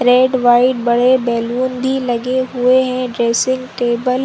red white बड़े balloon भी लगे हुए जैसे टेबल --